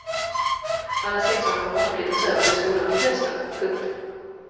Alla sexåringar kommer inte att flyttas över till skolan till hösten. punkt